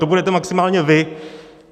To budete maximálně vy.